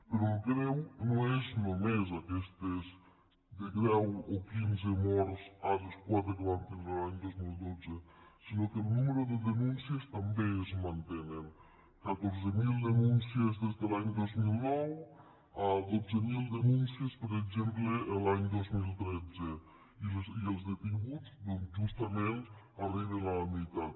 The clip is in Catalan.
però el greu no són només aquestes de deu a quinze morts a les quatre que vam tindre l’any dos mil dotze sinó que el nombre de denúncies també es manté catorze mil denúncies des de l’any dos mil nou a dotze mil denúncies per exemple l’any dos mil tretze i els detinguts doncs justament arriben a la meitat